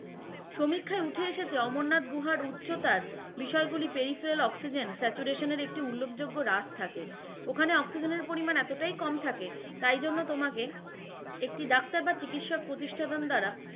সমিক্ষায় উঠে এসেছে অমরনাথ গুহার উচ্চতার বিষয় গুলি peripheral oxygen saturation এর একটি উল্লেখযোগ্য রাস থাকে, ওখানে অক্সিজেনের পরিমান এতটাই কম থাকে তাই জন্য তোমাকে একটি ডাক্তার বা চিকিৎসা প্রতিষ্ঠান দ্বারা,